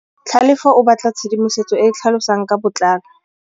Tlhalefô o batla tshedimosetsô e e tlhalosang ka botlalô.